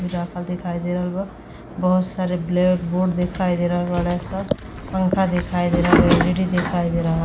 राखल दिखाई दे रहल बा। बहोत सारे ब्लैक बोर्ड दिखाई दे रहल बाड़े स। पंखा दिखाई दे रहल बा एलईडी दिखाई दे रह --